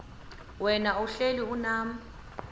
wena uhlel unam